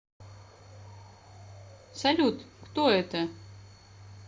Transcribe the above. салют кто это